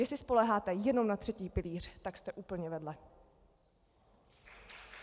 Jestli spoléháte jenom na třetí pilíř, tak jste úplně vedle.